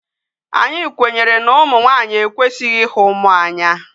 Anyi kwenyere na umu nwanyi ekwesighi ihu mmuo Anya